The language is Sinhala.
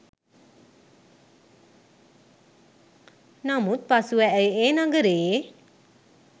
නමුත් පසුව ඇය ඒ නගරයේ